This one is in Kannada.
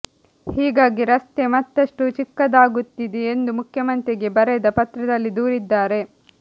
ಹೀಗಾಗಿ ರಸ್ತೆ ಮತ್ತಷ್ಟು ಚಿಕ್ಕದಾಗುತ್ತಿದೆ ಎಂದು ಮುಖ್ಯಮಂತ್ರಿಗೆ ಬರೆದ ಪತ್ರದಲ್ಲಿ ದೂರಿದ್ದಾರೆ